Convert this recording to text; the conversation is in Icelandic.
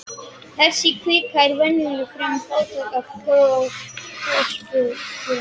Þessi kvika er venjulega fremur fátæk af gosgufum.